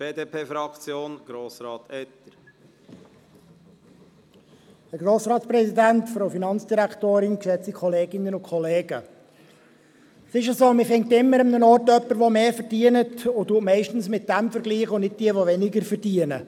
Man findet immer irgendwo jemanden, der mehr verdient, und man vergleicht meistens mit diesem und nicht mit denjenigen, die weniger verdienen.